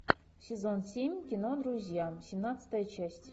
сезон семь кино друзья семнадцатая часть